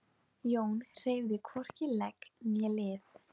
Sigurhelga, bókaðu hring í golf á þriðjudaginn.